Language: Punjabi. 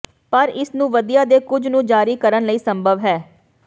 ਪਰ ਇਸ ਨੂੰ ਵਧੀਆ ਦੇ ਕੁਝ ਨੂੰ ਜਾਰੀ ਕਰਨ ਲਈ ਸੰਭਵ ਹੈ